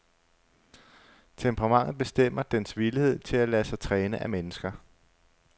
Temperamentet bestemmer dens villighed til at lade sig træne af mennesker.